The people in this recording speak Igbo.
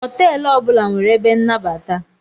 Hotelu ọbula nwere ebe nnabata.